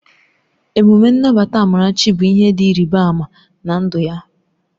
Emume Nnabata Amarachi bụ ihe dị ịrịba ama na ndụ ya